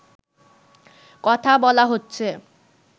কথা বলা হচ্ছে